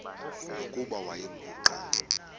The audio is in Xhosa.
nokuba wayengu nqal